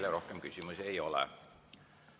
Teile rohkem küsimusi ei ole.